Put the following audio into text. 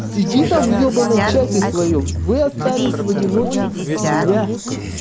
сиди там в ёбаном чате своём вы остались в одиночестве без меня